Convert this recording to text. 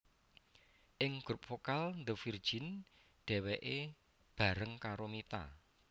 Ing grup vokal The Virgin dheweke bareng karo Mita